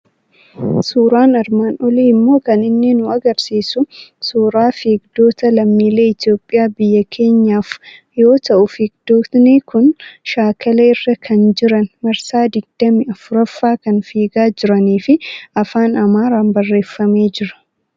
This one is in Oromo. Suuraan armaan olii immoo kan inni nu argisiisu suuraa fiigdota lammiilee Itoophiyaa biyya Keenyaaf yoo ta'u, fiigdotni kun shaakala irra kan jiran, marsaa digdamii arfaffaa kan fiigaa jiranii fi afaan Amaaraan barreeffamee jira.